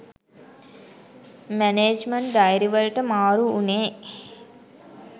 management diary වලට මාරු උනේ